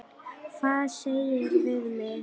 Hvað segirðu við mig?